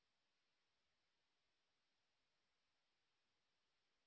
এটি spoken tutorial প্রকল্পটিকে সারসংক্ষেপে বোঝায়